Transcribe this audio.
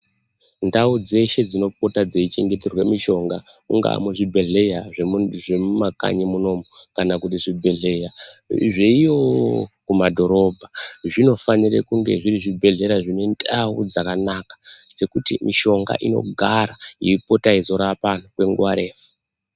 Ndau dzeshe dzinopota dzeichengeterwe mishonga kungaa muzvibhedhleya zvemumakanyi munomu kana kuti zvibhedhleya zveiyoo kumadhorobha zvinofanire kunge zviri zvibhedhlera zvine ndau dzakanaka dzekuti mishonga inogara yeipota yeizorapa anthu kwenguwa refu.